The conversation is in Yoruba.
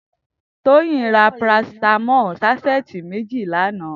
Toyin rà pàrásitàmọ̀lí sàṣẹtí méji lànã